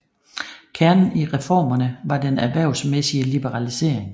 Kernen i reformerne var den erhvervsmæssige liberalisering